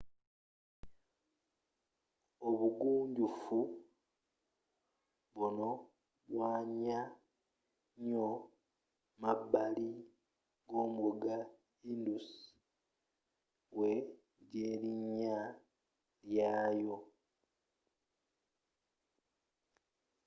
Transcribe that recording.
obugunjufu buno bwanya nyo mabbali g'omugga indus wejj'erinnya lyaayo